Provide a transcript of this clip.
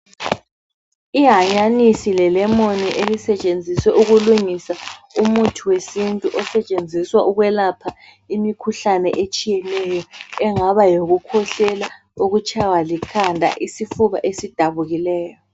Ihanyanisi le lemon elisetshenziswa ukulungisa umuthi wesintu osetshenziswa ukwelapha imikhuhlane etshiyeneyo engaba yokukhwehlela, ukutshaywa likhanda lesifuba esidabukileyo.